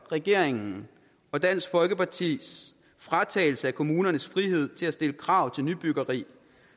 regeringen og dansk folkepartis fratagelse af kommunernes frihed til at stille krav til nybyggeri